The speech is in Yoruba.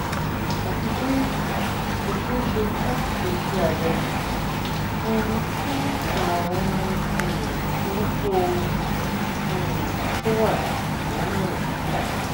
àti pé kò ṣeé ṣe láti ṣe iṣẹ abẹ um fún ààrùn um burúkú um tó wà nínú ẹyin